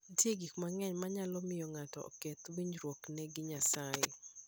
Nitie gik mang'eny manyalo miyo ng'ato oketh winjruokne gi Nyasaye.